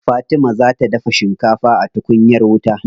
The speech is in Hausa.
Fatima za ta dafa shikafa a tukunyar wuta.